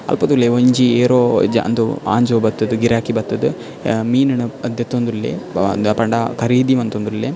ಅಲ್ಪ ತೂಲೆ ಒಂಜಿ ಏರೋ ಒಂಜಿ ಜ ಉಂದು ಅಂಜೋವು ಬತ್ತುದು ಗಿರಾಕಿ ಬತ್ತುದು ಅ ಮೀನುನು ದೆತ್ತೊಂದುಲ್ಲೆ ಆ ದಾಯೆ ಪಂಡ ಕರೀದಿ ಮಂತೊಂದುಲ್ಲೆ.